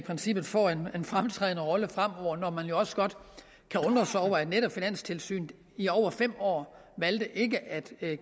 princippet får en fremtrædende rolle fremover når netop finanstilsynet i over fem år valgte ikke at